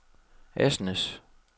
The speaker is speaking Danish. Asnæs